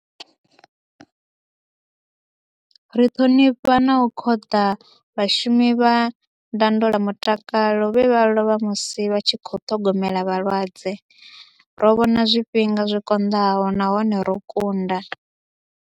Ri ṱhonifha na u khoḓa vhashumi vha ndondola mutakalo vhe vha lovha musi vha tshi khou ṱhogomela vhalwadze. Ro vhona zwifhinga zwi konḓaho nahone ro kunda.